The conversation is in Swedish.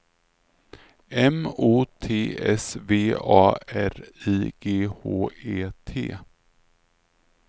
M O T S V A R I G H E T